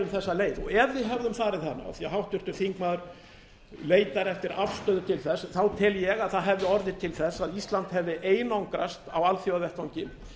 þessa leið ef við hefðum farið hana af því að háttvirtur þingmaður leitar eftir afstöðu til þess þá tel ég að það hefði orðið til þess að ísland hefði einangrast á alþjóðavettvangi